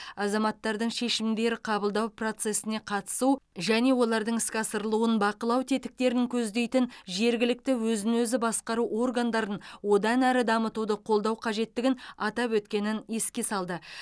азаматтардың шешімдер қабылдау процесіне қатысу және олардың іске асырылуын бақылау тетіктерін көздейтін жергілікті өзін өзі басқару органдарын одан әрі дамытуды қолдау қажеттігін атап өткенін еске салды